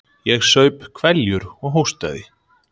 Ég saup hveljur og hóstaði.